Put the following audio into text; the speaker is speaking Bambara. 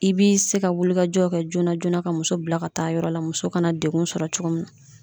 I b'i se ka wulikajɔw kɛ joona joona ka muso bila ka taa yɔrɔ la muso kana degun sɔrɔ cogo min na.